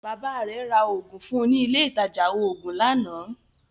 Baba rẹ̀ ra Ògùn fún ní ilé ìtajà oògùn lánàá